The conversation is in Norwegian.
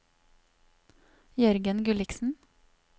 Jørgen Gulliksen